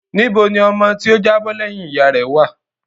Níbo ni ọmọ tí ó jábọ́ lẹ́yìn ìyá rẹ̀ wá à?